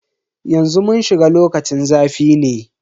Yanzu mun shiga lokacin zafi ne.